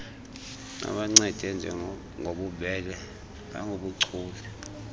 babancede ngobubele nangobuchule